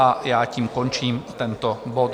A já tím končím tento bod.